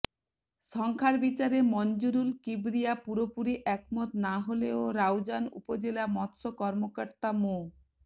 সংখ্যার বিচারে মনজুরুল কিবরিয়া পুরোপুরি একমত না হলেও রাউজান উপজেলা মৎস্য কর্মকর্তা মো